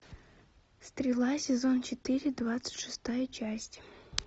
стрела сезон четыре двадцать шестая часть